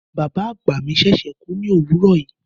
Bàbá àgbà mi ṣẹ̀ṣẹ̀ kú ní òwúrọ̀ yìí.